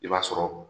I b'a sɔrɔ